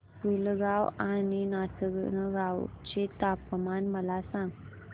पुलगांव आणि नाचनगांव चे तापमान मला सांग